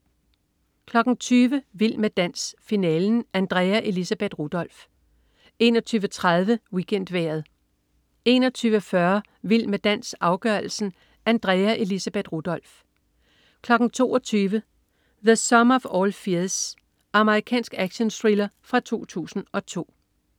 20.00 Vild med dans. Finalen. Andrea Elisabeth Rudolph 21.30 WeekendVejret 21.40 Vild med dans, afgørelsen. Andrea Elisabeth Rudolph 22.00 The Sum of all Fears. Amerikansk actionthriller fra 2002